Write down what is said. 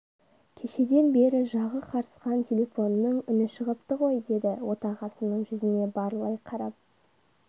кешеден бері жағы қарысқан телефонның үні шығыпты ғой деді отағасының жүзіне барлай қарап